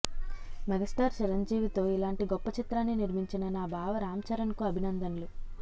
megastar చిరంజీవితో ఇలాంటి గొప్ప చిత్రాన్ని నిర్మించిన నా బావ రామ్చరణ్కు అభినందనలు